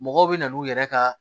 Mɔgɔw bɛ na n'u yɛrɛ ka